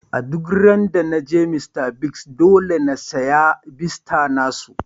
Duk ran da na je Mr.Biggs, dolle n'siya fiesta na su.